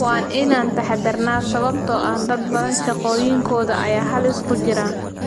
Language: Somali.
"Waa inaan taxadarnaa sababtoo ah dad badan shaqooyinkooda ayaa halis ku jira."